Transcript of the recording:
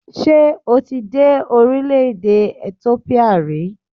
Ṣé o dé orílẹ̀-èdè Ethiopia rí?